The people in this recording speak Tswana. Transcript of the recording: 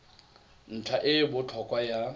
ntlha e e botlhokwa ya